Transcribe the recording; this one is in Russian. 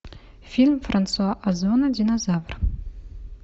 фильм франсуа озона динозавр